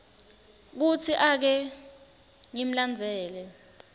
kutsi ake ngimlandzele